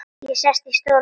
Ég sest í stólinn þinn.